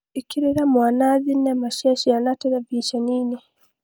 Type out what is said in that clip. ĩkĩrĩra mwana thenema cia ciana terebĩceninĩ